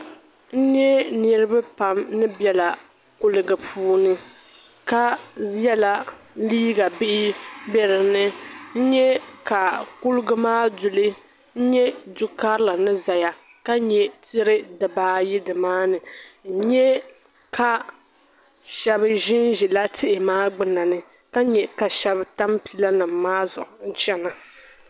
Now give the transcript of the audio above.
N nye niriba pam ni bela kuligi puuni ka yela liiga bihi n bɛ dini nyɛ ka kuligi maa duli nyɛ du'karili ni ʒiya ka nyɛ tihi dibaayi n nyɛ ka shɛba ʒin ʒiya tihi maa gbuni na ni ka nyɛ ka shɛba tam pilanima maa zuɣu chana